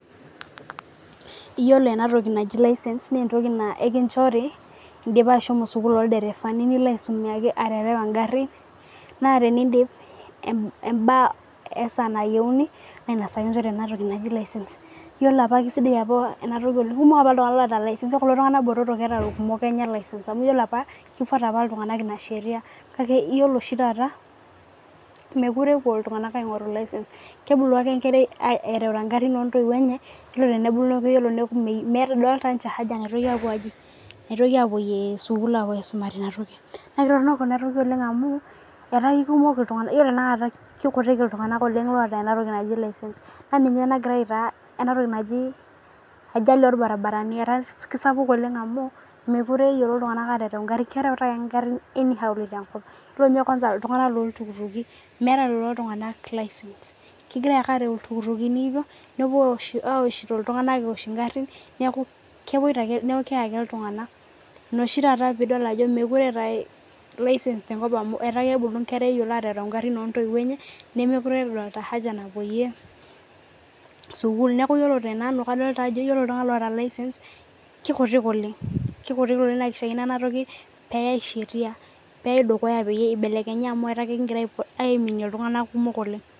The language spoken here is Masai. Eyiolo ena toki najii license naa entoki naa ekinjori edipa ashomo sukuul ilderevani nilo aisuma aterewa egari naa tenidip mbaa oo siatin nayieuni naa enakata kinjorii ena toki naaji license ore apa kisidai ena toki kumok apa iltung'ana oota license ore kulo tung'ana botorok keeta license amu ore apa kifuata apa iltung'ana ena sheria kake ore oshi taata mekure epuo iltung'ana aing'oru license etaa kebulu ake enkera erewuta garin oo ntoyiwuo enye neeku medolita ninche haja naitoki apuoyie sukuul apa aisumare ena toki naa Torono ena toki amu etaa kutik iltung'ana otaa ena toki naaji license naa ninche oo gira aitaa enatoki ajali irbaribarani kisapuk oleng amu mekure eyiolo iltung'ana aterew egarin kerewuta ake any hawoli amu yiolo ninye iltung'ana loo iltukutuki meeta license kegira ake arew iltukutuki hvyo nepuo awosh egarin neeku keeye ake iltung'ana ena oshi taata mekure etae license amu etaa kebulu Nkera eyiolo aterew garin oo ntoyiwuo enye nemekure edol haja napuoyie sukuul neeku ore tenanj kadolita Ajo ore iltung'ana ootaa license kikutik oleng naa kishakino ena toki neyai sheria neyau dukuya pee eibelekenya amu etaa ekigira aiminie iltung'ana kumok oleng